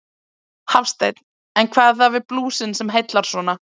Hafsteinn: En hvað er það við blúsinn sem að heillar svona?